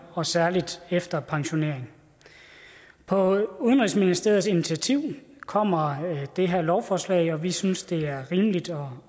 og særlig efter pensionering på udenrigsministeriets initiativ kommer det her lovforslag og vi synes det der er rimeligt og